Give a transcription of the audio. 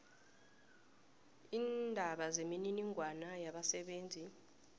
leendaba zemininingwana yabasebenzi